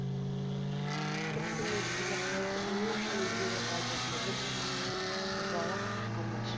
бір түннің ішінде қайтып не үшін өзгере қалды деді быжалақ қаққан әш